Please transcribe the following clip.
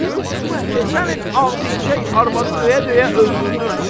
Keçən il Ağbicək arvadı döyə-döyə öldürdün.